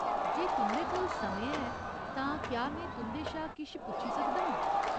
जे तुं'दे कोल समें ऐ, तां क्या में तुं'दे शा किश पुच्छी सकदा आं ?